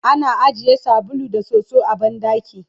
ana ajiye sabulu da soso a banɗaki